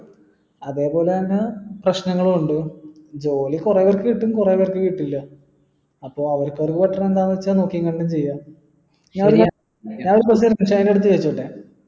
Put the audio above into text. അതേപോലെന്നെ പ്രശ്നങ്ങളുണ്ട് ജോലി കുറെ പേർക്ക് കിട്ടും കുറെ പേർക്ക് കിട്ടില്ല അപ്പൊ അവരെക്കൊണ്ട് പറ്റണത് എന്താണെന്ന് വെച്ചാ നോക്കിയും കണ്ടു ചെയ്യാം ചോയ്ച്ചോട്ടെ